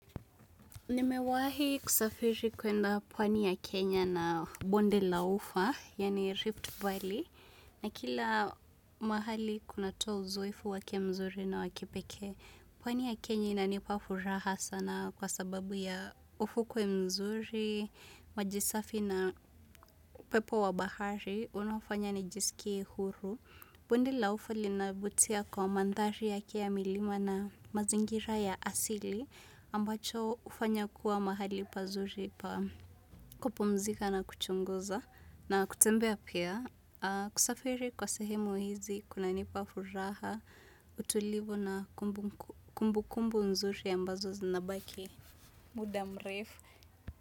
Nimewahi kusafiri kuenda pwani ya Kenya na bonde la ufa, yaani Rift Valley. Na kila mahali kunatoa uzoefu wake mzuri na wa kipekee. Pwani ya Kenya inanipa furaha sana kwa sababu ya ufukuwe mzuri, maji safi na pepo wa bahari. Unafanya nijisikie huru. Bondi la ufa linavutia kwa mandhari yake milima na mazingira ya asili. Ambacho ufanya kuwa mahali pazuri pa kupumzika na kuchunguza na kutembea pia kusafiri kwa sehemu hizi kuna nipa furaha utulivu na kumbu kumbu nzuri ambazo zinabaki muda mrefu.